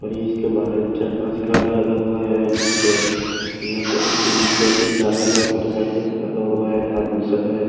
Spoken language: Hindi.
और ये इसके बाहर चार पांच कार लगा हुआ है यहां पे यहां पे भी तीन दो तीन कार लगा है मोटरसाइकिल से लगा हुआ है आदमी सब है।